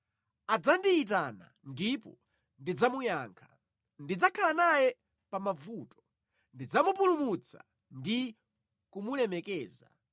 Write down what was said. Adzandiyitana, ndipo ndidzamuyankha; ndidzakhala naye pa mavuto, ndidzamupulumutsa ndi kumulemekeza.